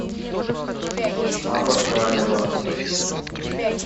абашаева